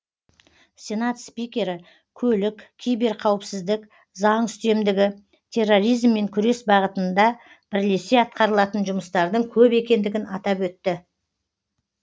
сенат спикері көлік киберқауіпсіздік заң үстемдігі терроризммен күрес бағытында бірлесе атқарылатын жұмыстардың көп екендігін атап өтті